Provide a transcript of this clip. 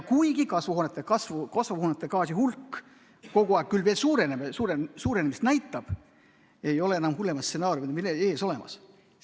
Kuigi kasvuhoonegaaside hulk küll kogu aeg veel suurenemist näitab, ei ole enam hullemat stsenaariumi meil ees ootamas.